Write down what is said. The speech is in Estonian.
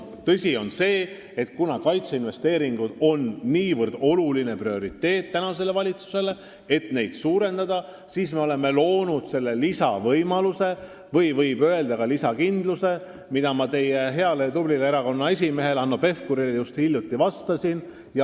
Tõsi on see, et kuna kaitseinvesteeringud on niivõrd olulised ja see on praeguse valitsuse jaoks prioriteet, siis me oleme loonud selle lisavõimaluse, võib öelda ka lisakindluse, mille kohta ma teie heale ja tublile erakonna esimehele Hanno Pevkurile just hiljuti vastasin.